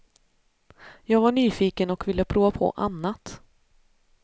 Jag var nyfiken och ville prova på annat.